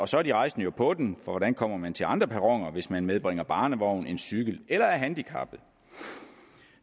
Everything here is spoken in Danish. så er de rejsende jo på den for hvordan kommer man til andre perroner hvis man medbringer barnevogn cykel eller er handicappet